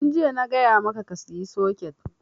Tun jiya na gaya maka ka saya soket!